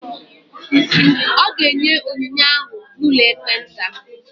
Ọ ga-enye onyinye ahụ n'ụlọ ekpenta.